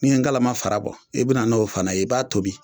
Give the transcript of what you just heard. N'i ye ngalama fara bɔ i bi na n'o fana ye i b'a tobi